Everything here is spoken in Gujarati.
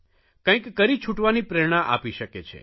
કંઇક કરી છૂટવાની પ્રેરણા આપી શકે છે